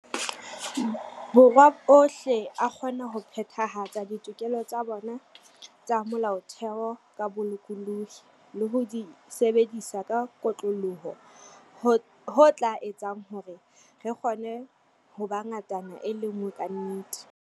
Borwa ohle a kgona ho phethahatsa ditokelo tsa bona tsa Mo-laotheo ka bolokolohi le ho di sebedisa ka kotloloho, ho tla etsang hore re kgone ho ba ngatana e le nngwe ka nnete.